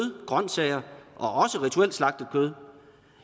grønsager og også rituelt slagtet kød